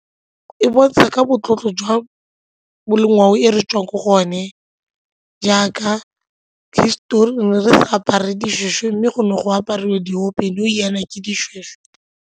E bontsha ka motlotlo jwa ngwao ko re tswang ko go one jaaka histori re ne re apara dishweshwe mme go ne go aparwa diopedi nou jaana ke dishweshwe.